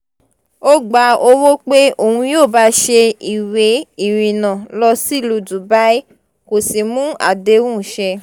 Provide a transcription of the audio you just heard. ó gba owó pé òun yóò bá a ṣe ìwé ìrìnnà lọ sílùú dubai kó sì mú àdéhùn ṣẹ